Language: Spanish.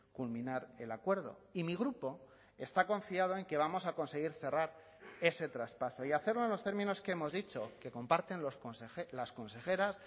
culminar el acuerdo y mi grupo está confiado en que vamos a conseguir cerrar ese traspaso y hacerlo en los términos que hemos dicho que comparten las consejeras